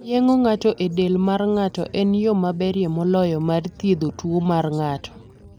Yeng'o ng'ato e del mar ng'ato en yo maberie moloyo mar thiedho tuwo mar ng'ato.